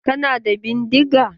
Kana da bindiga?